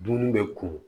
Dumuni bɛ ko